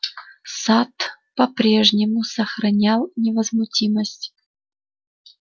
сатт по-прежнему сохранял невозмутимость